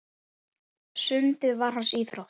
Sundið var hans íþrótt.